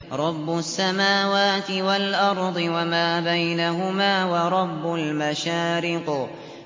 رَّبُّ السَّمَاوَاتِ وَالْأَرْضِ وَمَا بَيْنَهُمَا وَرَبُّ الْمَشَارِقِ